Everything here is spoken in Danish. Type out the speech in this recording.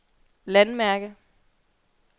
landmærke